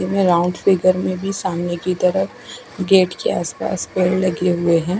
ये round figure में भी सामने की तरफ गेट के आस पास पेड़ लगे हुए है।